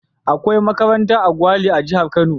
Akwai makaranta a Gwale a jihar Kano.